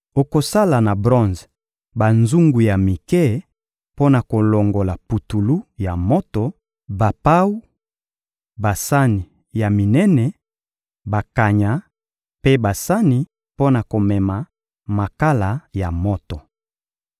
Okosala na bronze banzungu ya mike mpo na kolongola putulu ya moto, bapawu, basani ya minene, bakanya mpe basani mpo na komema makala ya moto.